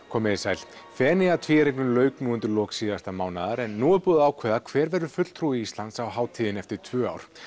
komið þið sæl Feneyjatvíæringnum lauk nú undir lok síðasta mánaðar en nú er búið að ákveða hver verður fulltrúi Íslands á hátíðinni eftir tvö ár